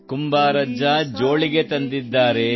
ಕುಂಬಾರಜ್ಜ ಜೋಳಿಗೆ ತಂದಿದ್ದಾರೆ